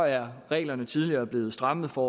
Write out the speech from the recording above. er reglerne tidligere blevet strammet for